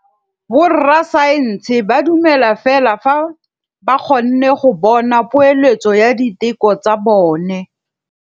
Borra saense ba dumela fela fa ba kgonne go bona poeletsô ya diteko tsa bone.